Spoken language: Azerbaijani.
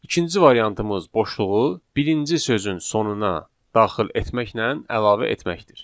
İkinci variantımız boşluğu birinci sözün sonuna daxil etməklə əlavə etməkdir.